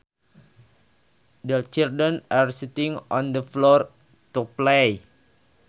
The children are sitting on the floor to play